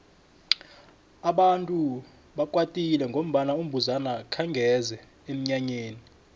abantu bebakwatile ngombana umbuzana akhenge eze emnyanyeni